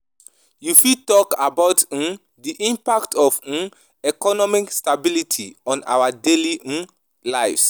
You fit talk about um di impact of um economic stability on our daily um lives.